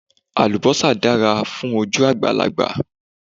Àlùbósà dára fún ojú àgbàlagbà